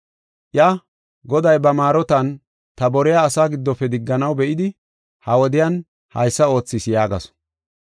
Iya, “Goday ba maarotan ta boriya asaa giddofe digganaw be7idi ha wodiyan haysa oothis” yaagasu.